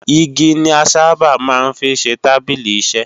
Igi ni a sáábà máa ń fi ṣe tábìlì-iṣẹ.